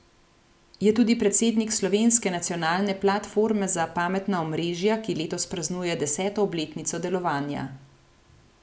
Je tudi predsednik slovenske nacionalne platforme za pametna omrežja, ki letos praznuje deseto obletnico delovanja.